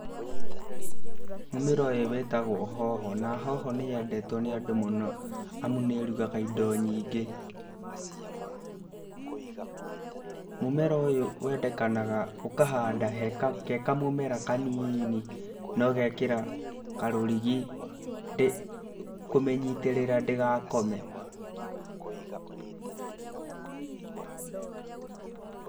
Mũmera ũyũ wĩtagwo hoho, na hoho nĩ yendetwo nĩ andũ mũno, amu nĩ ĩrugaga indo nyingĩ. Mũmera ũyũ wendekanaga ũkahanda ge kamũmera kanini na ũgekĩra karũrigi kũmĩnyitĩrĩra ndĩgakome.